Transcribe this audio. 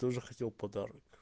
тоже хотел подарок